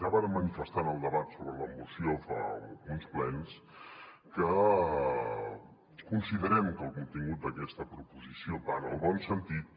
ja vàrem manifestar en el debat sobre la moció fa uns plens que considerem que el contingut d’aquesta proposició va en el bon sentit